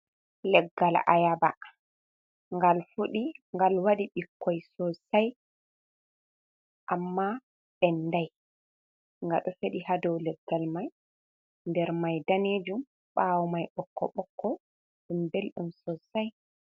Leggal ayaɓa ngal fuɗi ,ngal waɗi ɓikkoi sosai amma ɓenɗai , nga ɗo feɗi ha ɗow leggal mai, nɗer mai ɗanejum ɓawo mai ɓokko ɓokko ɗum ɓelɗum sosai.